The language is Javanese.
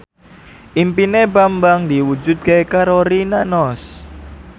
impine Bambang diwujudke karo Rina Nose